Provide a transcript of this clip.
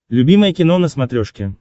любимое кино на смотрешке